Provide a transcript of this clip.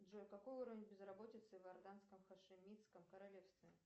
джой какой уровень безработицы в иорданском хашимитском королевстве